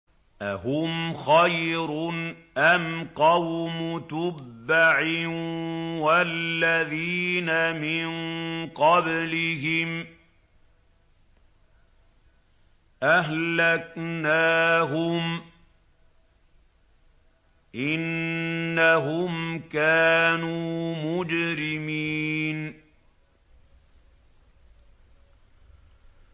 أَهُمْ خَيْرٌ أَمْ قَوْمُ تُبَّعٍ وَالَّذِينَ مِن قَبْلِهِمْ ۚ أَهْلَكْنَاهُمْ ۖ إِنَّهُمْ كَانُوا مُجْرِمِينَ